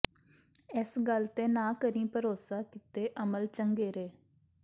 ਇਸ ਗਲ ਤੇ ਨਾ ਕਰੀਂ ਭਰੋਸਾ ਕੀਤੇ ਅਮਲ ਚੰਗੇਰੇ